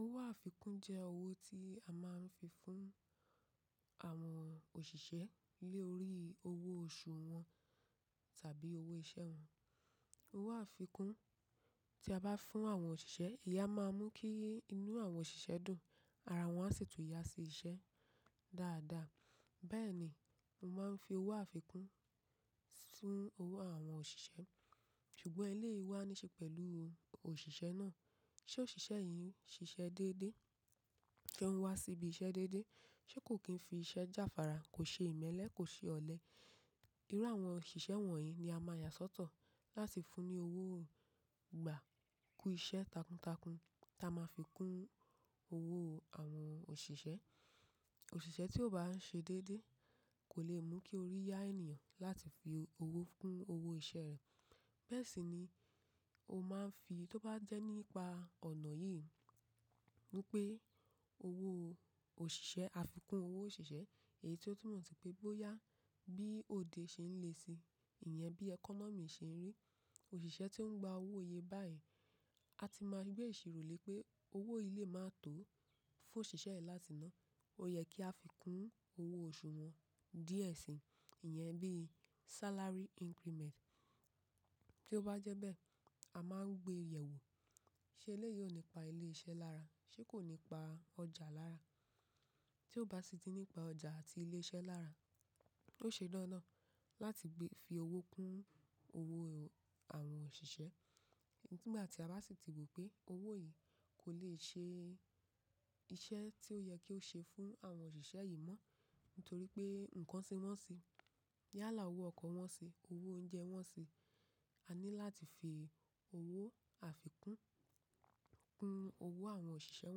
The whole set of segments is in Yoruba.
Owó àfikún jẹ́ owó tí a máa ń fi fún àwọn òṣìṣẹ́ lé orí owó oṣù wọn tàbí owó iṣẹ́ wọn. Owó àfikún tí a bá fún àwọn òṣìṣẹ́, ìyá máa mú kí inú àwọn òṣìṣẹ́ dùn, ara wọn a sì tún yá sí iṣẹ́ dáadáa. Bẹ́ẹ̀ ni, mo máa ń fi owó àfikún fún àwọn òṣìṣẹ́. Ṣùgbọ́n eléyìí wá níṣe pẹ̀lú òṣìṣẹ́ náà. Ṣé òṣìṣẹ́ yìí ń ṣiṣẹ́ déédéé? Ṣé òun wá sí ibi iṣẹ́ déédéé? Ṣé kò kí n fi iṣẹ́ jáfára, kò ṣe ìmẹ́lẹ́, kò ṣe ọ̀lẹ. Irú àwọn òṣìṣẹ́ wọ̀nyí ni a máa yà sọ́tọ̀ láti fún ní owó ìgbà kú iṣẹ́ takuntakun tí a máa fi kún owó àwọn òṣìṣẹ́. Òṣìṣẹ́ tí ó bá ń ṣe déédéé kò lè mú kí orí yá ènìyàn láti fi owó kún owó iṣẹ́ rẹ̀. Bẹ́ẹ̀ sì ni ó máa ń fi tó bá jẹ́ nípa ọ̀nà yìí wípé owó òṣìṣẹ́, àfikún owó òṣìṣẹ́, èyí tí ó tún mọ̀ sí pé bóyá bí òde ṣe ń le si ìyẹn bí ẹkọ́nọ́mì ṣe ń rí. Òṣìṣẹ́ tí ó ń gba owó iye báyìí, a ti máa gbé èṣì rọ̀lẹ́ pé owó yìí lè máa tó fún òṣìṣẹ́ yìí láti ná. Ó yẹ kí a fi kún owó oṣù wọn díẹ̀ si ìyẹn bí salary increament. Tí ó bá jẹ́ bẹ́ẹ̀, a máa ń gbé yẹ̀wo ṣe eléyìí ò nípa ilé iṣẹ́ lára, ṣé kò nípa ọjà lára. Tí ó bá sì ti nípa ọjà àti ilé iṣẹ́ lára, ó ṣe dándán láti gbé fi owó kún owó àwọn òṣìṣẹ́. Nígbà tí a bá sì ti wò pé owó yìí kò lè ṣe iṣẹ́ tí ó yẹ kí ó ṣe fún àwọn òṣìṣẹ́ yìí mọ́ nítorí pé nǹkan tí wọ́n ń ṣe, yálà owó ọkọ̀ wọ́n ṣe, owó oúnjẹ wọ́n ṣe. A ní láti fi owó àfikún kún owó àwọn òṣìṣẹ́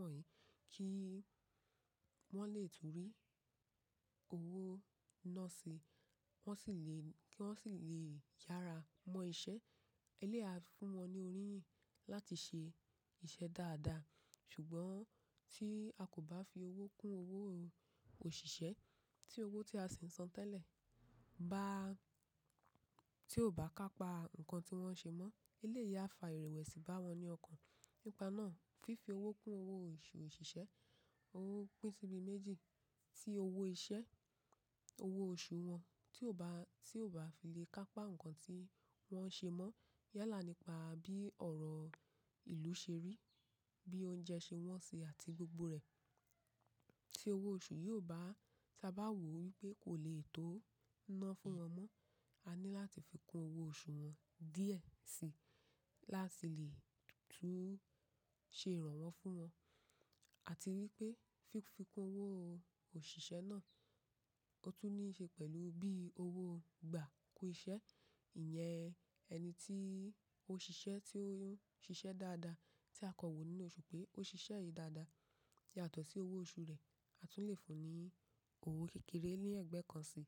wọ̀nyí kí wọ́n lè tún rí owó ná si, wọ́n sì lè kí wọ́n sì lè yára mọ iṣẹ́. Eléyìí a fún wọn ní orí yìn láti ṣe iṣẹ́ dáadáa. Ṣùgbọ́n tí a kò bá fi owó kún owó òṣìṣẹ́ tí owó tí a sì ń san tẹ́lẹ̀ bá tí ò bá ká pa nǹkan tí wọ́n ń ṣe mọ́, eléyìí a fa ìrẹ̀wẹ̀sì bá wọn ní ọkàn. Nípa náà, fífi owó kún owó oṣù òṣìṣẹ́, owó pín síbi méjì tí owó iṣẹ́, owó oṣù wọn tí ò bá tí ò bá fi lè ká pa nǹkan tí wọ́n ń ṣe mọ́. Yálà nípa bí ọ̀rọ̀ ìlú ṣe rí, bí oúnjẹ ṣe wọ́n ṣi àti gbogbo rẹ̀ tí owó oṣù yóò bá tí a bá wò wípé kò lè tó ná fún wọn mọ́. A ní láti fi kún owó oṣù wọn díẹ̀ si láti lè tún ṣe ìrànwọ́ fún wọn. A ti rí pé fífi kún owó òṣìṣẹ́ náà ó tún ní í ṣe pẹ̀lú bí owó ìgbà kú iṣẹ́. Ìyẹn ẹni tí ó ṣiṣẹ́ tí ó ń ṣiṣẹ́ dáadáa tí a kọ wò nínú oṣù pé ó ṣiṣẹ́ yìí dáadáa yàtọ̀ sí owó oṣù rẹ̀, a tún lè fún un ní owó kékeré ni ẹ̀gbẹ́ kan si.